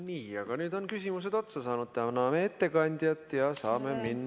Nii, aga nüüd on küsimused otsa saanud, täname ettekandjat!